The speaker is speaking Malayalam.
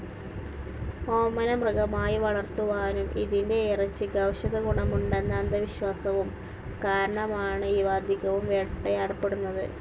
ഓമന മൃഗമായി വളർത്തുവാനും ഇതിൻ്റെ ഇറച്ചിക്ക് ഔഷധ ഗുണമുണ്ടെന്ന അന്ധവിശ്വാസവും കാരണമാണ് ഇവ അധികവും വേട്ടയാടപ്പെടുന്നത്.